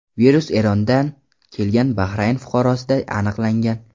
Virus Erondan kelgan Bahrayn fuqarosida aniqlangan.